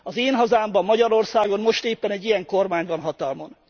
Az én hazámban, Magyarországon most éppen egy ilyen kormány van hatalmon.